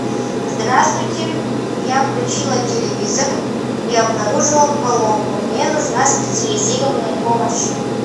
здравствуйте я включила телевизор и обнаружила поломку мне нужна специализированная помощь